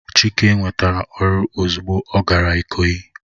Chike nwetara oru ozugbo o gara ikoyi